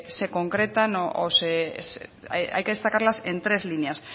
se concretan o hay que destacarlas en tres líneas